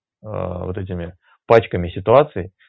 вот этими пачками ситуации